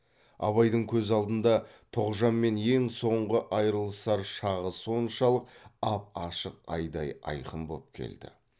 абайдың көз алдында тоғжанмен ең соңғы айрылысар шағы соншалық ап ашық айдай айқын боп келді